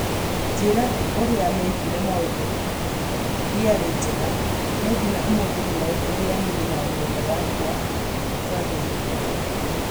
Njĩra ĩrĩa mekire maũndũ ndĩarĩ njega, na nginya ũmũthĩ nĩoĩ ũrĩa niĩ na nyũmba yakwa twathĩnĩkire